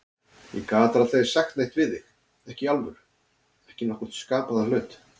Ég gat aldrei sagt neitt við þig, ekki í alvöru, ekki nokkurn skapaðan hlut.